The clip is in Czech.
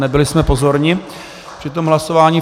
Nebyli jsme pozorní při tom hlasování.